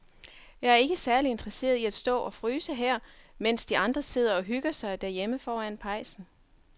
Jeg er ikke særlig interesseret i at stå og fryse her, mens de andre sidder og hygger sig derhjemme foran pejsen.